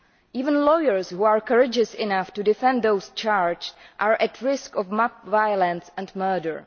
Even lawyers who are courageous enough to defend those charged are at risk of mob violence and murder.